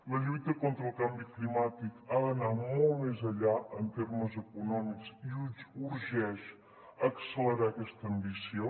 la lluita contra el canvi climàtic ha d’anar molt més enllà en termes econòmics i urgeix accelerar aquesta ambició